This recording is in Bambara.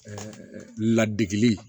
Ɛɛ ladege